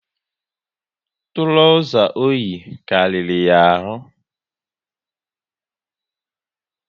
Trauza oyi karịrị ya ahụ